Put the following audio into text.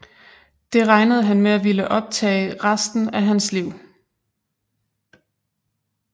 Det regnede han med at ville optage resten af hans liv